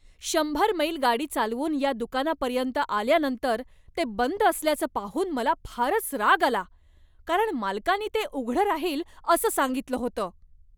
शंभर मैल गाडी चालवून या दुकानापर्यंत आल्यानंतर ते बंद असल्याचं पाहून मला फारच राग आला, कारण मालकानी ते उघडं राहील असं सांगितलं होतं.